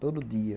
Todo dia.